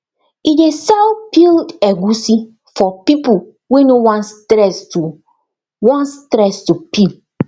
e dey sell peeled egusi for people wey no wan stress to wan stress to peel